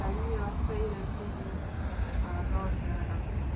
карьера стоит на кого широков